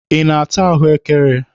Ị na-ata ahụekere?